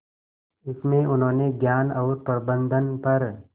इसमें उन्होंने ज्ञान और प्रबंधन पर